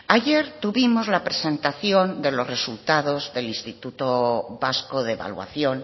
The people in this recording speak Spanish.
ayer tuvimos la presentación de los resultados del instituto vasco de evaluación